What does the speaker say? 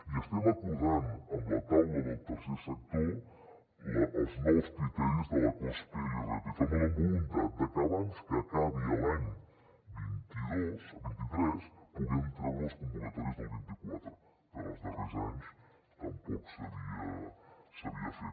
i estem acordant amb la taula del tercer sector els nous criteris de la cospe i l’irpf amb la voluntat de que abans que acabi l’any vint tres puguem treure les convocatòries del vint quatre que en els darrers anys tampoc s’havia fet